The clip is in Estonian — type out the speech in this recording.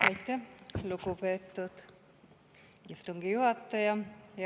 Aitäh, lugupeetud istungi juhataja!